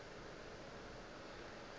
ge a be a se